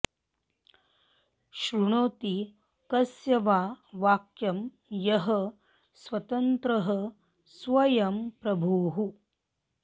शृणोति कस्य वा वाक्यं यः स्वतन्त्रः स्वयं प्रभुः